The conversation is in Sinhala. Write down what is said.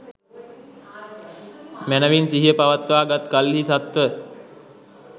මැනැවින් සිහිය පවත්වා ගත් කල්හි සත්ව